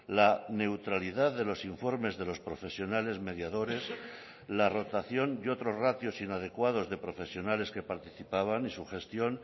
la neutralidad de los informes de los profesionales mediadores la rotación y otros ratios inadecuados de profesionales que participaban en su gestión